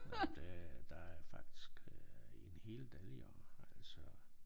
Nåh men det der er faktisk øh en hel del jo altså